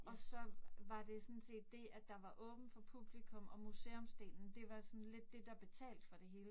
Og så var det sådan set det, at der var åbent for publikum og museumsdelen. Det var sådan lidt det, der betalte for det hele